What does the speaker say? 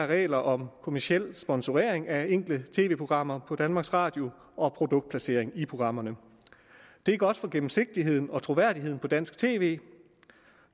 reglerne om kommerciel sponsorering af enkelte tv programmer på danmarks radio og produktplacering i programmerne det er godt for gennemsigtigheden og troværdigheden på dansk tv